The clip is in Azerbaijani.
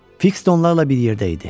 Fiks də onlarla bir yerdə idi.